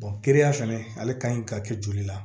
ya fɛnɛ ale ka ɲi ka kɛ joli la